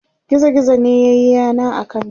gizo gizo ne yayi yana a kanta